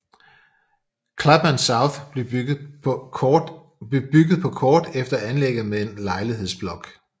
Clapham South blev bygget på kort efter anlægget med en lejlighedsblok